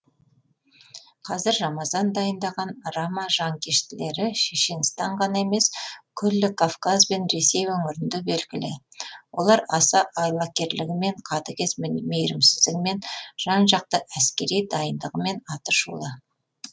қазір рамазан дайындаған рама жанкештілері шешенстан ғана емес күллі кавказ бен ресей өңірінде белгілі олар аса айлакерлігімен қатыгез мейірімсіздігімен жан жақты әскери дайындығымен аты шулы